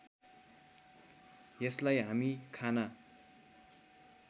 यसलाई हामी खाना